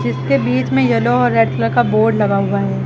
इसके बीच येलो और रेड कलर का बोर्ड लगा हुआ है।